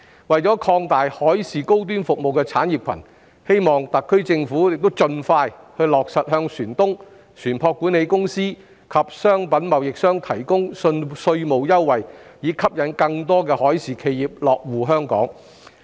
為擴大海事高端服務產業，希望特區政府亦盡快落實向船東、船舶管理公司及商品貿易商提供稅務優惠，以吸引更多海事企業落戶香港。